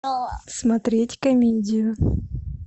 смотреть комедию